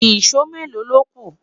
ìsọ Melo lóku?